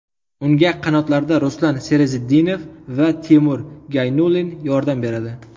Unga qanotlarda Ruslan Serazitdinov va Timur Gaynulin yordam beradi.